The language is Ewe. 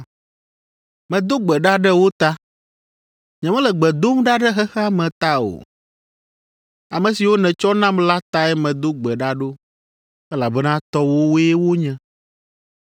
Medo gbe ɖa ɖe wo ta; nyemele gbe dom ɖa ɖe xexea me ta o. Ame siwo nètsɔ nam la tae medo gbe ɖa ɖo, elabena tɔwòwoe wonye.